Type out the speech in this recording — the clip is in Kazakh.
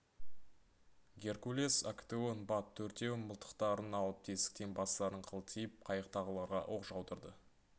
геркулес актеон бат төртеуі мылтықтарын алып тесіктен бастарын қылтитып қайықтағыларға оқ жаудырды